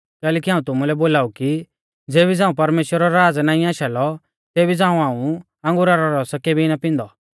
कैलैकि हाऊं तुमुलै बोलाऊ कि ज़ेबी झ़ांऊ परमेश्‍वरा रौ राज़ नाईं आशा लौ तेबी झ़ांऊ हाऊं अंगुरा रौ रस केबी ना पिन्दौ